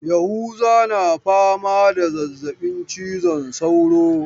Yahuza na fama da zazzabin cizon sauro.